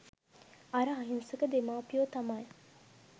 අර අහිංසක දෙමාපියෝ තමයි